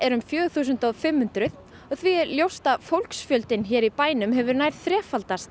um fjögur þúsund fimm hundruð og því ljóst að fólksfjöldinn í bænum hefur nær þrefaldast